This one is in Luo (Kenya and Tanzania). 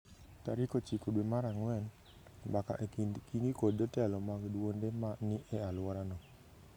Tarik ochiko dwe mar ang’wen, mbaka e kind Kingi kod jotelo mag duonde ma ni e alworano